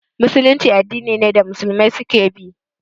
Musulunci addini ne da Musulmi su ke bi